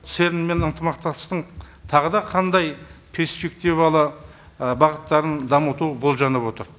церн мен ынтымақтастықтың тағы да қандай перспективалы бағыттарын дамыту болжанып отыр